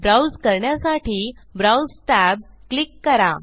browse करण्यासाठी browse tab click करा